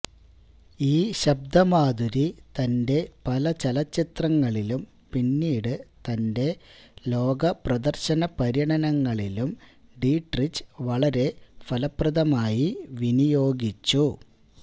ഈ ശബ്ദമാധുരി തന്റെ പല ചലച്ചിത്രങ്ങളിലും പിന്നീട് തന്റെ ലോക പ്രദർശന പര്യടനങ്ങളിലും ഡീട്രിച്ച് വളരെ ഭലപ്രദമായി വിനിയോഗിച്ചു